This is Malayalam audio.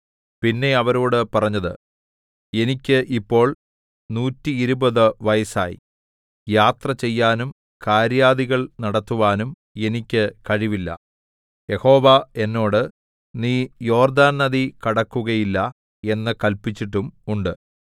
പിന്നെ അവരോടു പറഞ്ഞത് എനിക്ക് ഇപ്പോൾ നൂറ്റിയിരുപത് വയസ്സായി യാത്ര ചെയ്യാനും കാര്യാദികൾ നടത്തുവാനും എനിക്ക് കഴിവില്ല യഹോവ എന്നോട് നീ യോർദ്ദാൻ നദി കടക്കുകയില്ല എന്ന് കല്പിച്ചിട്ടും ഉണ്ട്